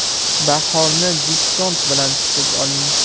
Bahorni Diskont bilan kutib oling!.